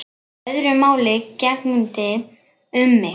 Öðru máli gegndi um mig.